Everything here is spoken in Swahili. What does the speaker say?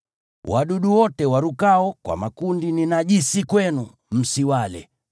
Wadudu wote warukao kwa makundi ni najisi kwenu, msiwale.